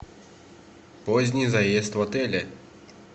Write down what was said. поздний заезд в отеле